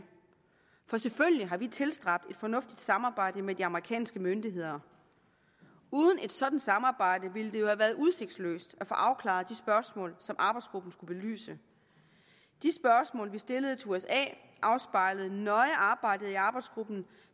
for selvfølgelig har vi tilstræbt et fornuftigt samarbejde med de amerikanske myndigheder uden et sådant samarbejde ville det jo have været udsigtsløst at få afklaret de spørgsmål som arbejdsgruppen skulle belyse de spørgsmål vi stillede til usa afspejlede nøje arbejdet i arbejdsgruppen